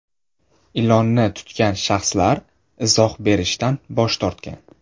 Ilonni tutgan shaxslar izoh berishdan bosh tortgan.